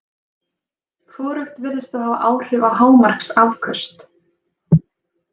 Hvorugt virðist þó hafa áhrif á hámarksafköst.